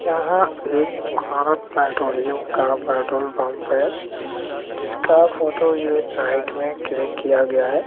यहां एक भारत पेट्रोलियम का पेट्रोल पंप है जिसका फोटो ये नाइट में क्लिक किया गया है।